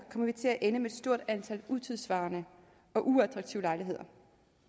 vi til at ende med et stort antal utidssvarende og uattraktive lejligheder